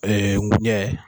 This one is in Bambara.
Ɛɛ ngunjɛ.